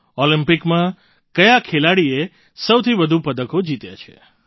ઑલિમ્પિકમાં કયા ખેલાડીએ સૌથી વધુ પદકો જીત્યાં છે